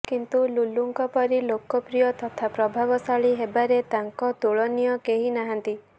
କିନ୍ତୁ ଲୁଲୁଂକ ପରି ଲୋକପ୍ରିୟ ତଥା ପ୍ରଭାବଶାଳୀ ହେବାରେ ତାଂକ ତୁଳନୀୟ କେହି ନାହାନ୍ତି